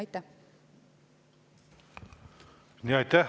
Aitäh!